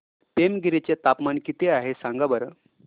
पेमगिरी चे तापमान किती आहे सांगा बरं